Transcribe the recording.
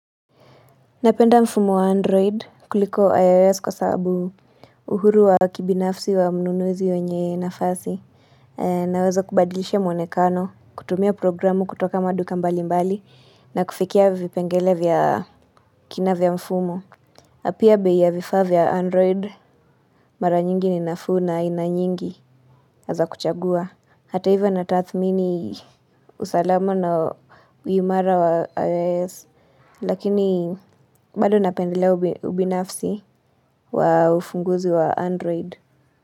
Napenda mfumo wa android kuliko ios kwa sababu uhuru wa kibinafsi wa mnunuzi wenye nafasi. Naweza kubadilisha mwonekano, kutumia programu kutoka maduka mbali mbali, na kufikia vipengele vya kina vya mfumo. Na pia bei ya vifa vya android mara nyingi ni nafuu na aina nyingi na za kuchagua. Hata ivo natathmini usalama na uimara wa iOS Lakini bado napendelea ubinafsi wa ufunguzi wa Android.